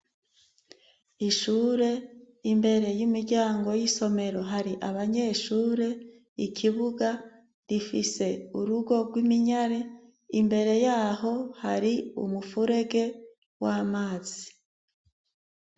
Ishure, imbere y'imiryango y'isomero hari abanyeshure ikibuga rifise urugo rw'iminyare imbere yaho hari umufurege w'amazi.